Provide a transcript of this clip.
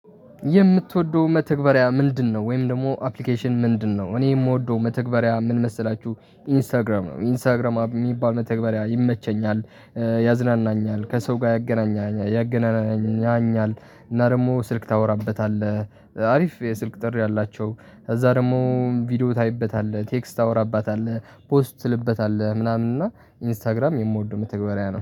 የምትወደው መተግበሪያ ምንድነው? ወይም ደግሞ አፕሊኬሽን ምንድነው? እኔ የምወደው መተግበሪያ ምን መሰላችሁ ኢንስታግራም ነው ኢንስታግራም የሚባል መተግበሪያ ይመቸኛል። ያዝናናኛል ከሰው ጋር ያገናናኛል ያገናናኛል እና ደግሞ ስልክ ታወራበታለህ አሪፍ የስልክ ጥሪ አላቸው። ከዚያ ደግሞ ቪዲዮ ታይበታለህ ቴክስት ታወራባታለህ ፖስት ትልበታለህ ምናምን እና ኢንስታግራም የምወደው መተግበሪያ ነው